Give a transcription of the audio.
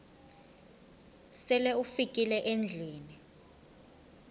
sele ufikile endlwini